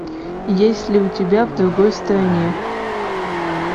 есть ли у тебя в другой стране